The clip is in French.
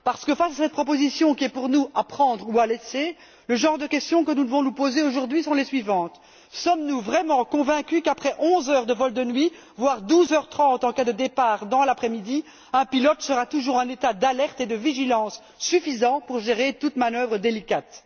Parce que face à cette proposition qui est, pour nous, à prendre ou à laisser, les questions que nous devons nous poser, aujourd'hui, sont notamment les suivantes sommes nous vraiment convaincus qu'après 11 heures de vol de nuit, voire 12 heures trente en cas de départ dans l'après midi, un pilote sera toujours en état d'alerte et de vigilance suffisant pour gérer toute manœuvre délicate?